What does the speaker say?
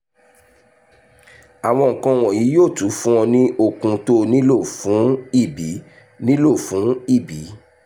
àwọn nǹkan wọ̀nyí yóò tún fún ọ ní okun tóo nílò fún ìbí nílò fún ìbí